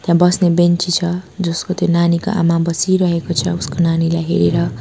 त्या बस्ने बेन्ची छ जसको त्यो नानीको आमा बसिरहेको छ उसको नानीलाई हेरेर।